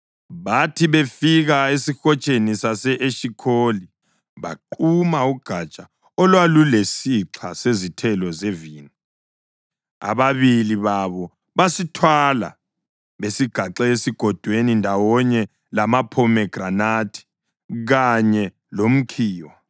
Bathi befika esihotsheni sase-Eshikholi baquma ugatsha olwalulesixha sezithelo zevini. Ababili babo basithwala besigaxe egodweni ndawonye lamaphomegranathi kanye lomkhiwa.